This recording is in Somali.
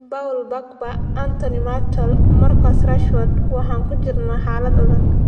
Paul Pogba, Anthony Martial, Marcus Rashford - waxaan ku jirnaa xaalad adag